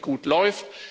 irgendwie gut läuft.